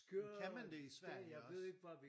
Kan man det i Sverige også?